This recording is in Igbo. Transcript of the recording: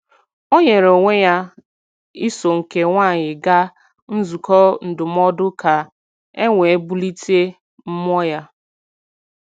O nyere onwe ya iso nke nwaanyị gaa nzukọ ndụmọdụ ka e wee bulite mmụọ ya.